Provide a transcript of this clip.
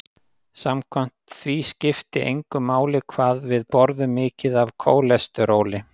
Samkvæmt því skipti engu máli hvað við borðum mikið af kólesteróli.